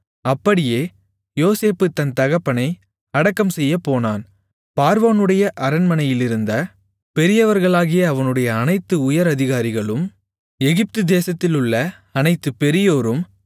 அப்படியே யோசேப்பு தன் தகப்பனை அடக்கம்செய்யப் போனான் பார்வோனுடைய அரண்மனையிலிருந்த பெரியவர்களாகிய அவனுடைய அனைத்து உயர் அதிகாரிகளும் எகிப்துதேசத்திலுள்ள அனைத்து பெரியோரும்